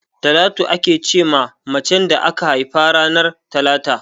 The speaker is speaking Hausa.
Talatu ake ce ma mace da aka haifa ranar talata.